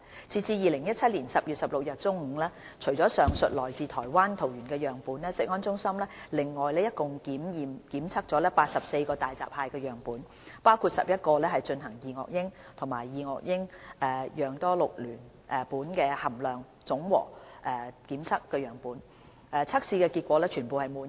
截至2017年10月16日中午，除了上述來自台灣桃園的樣本外，食安中心另外共檢測了84個大閘蟹樣本，包括11個進行二噁英及二噁英含量總和檢測的樣本，測試結果全部滿意。